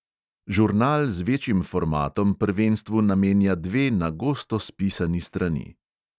Žurnal z večjim formatom prvenstvu namenja dve na gosto spisani strani.